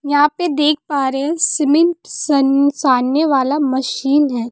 यहां पे देख पा रहे सीमेंट सन सानने वाला मशीन है।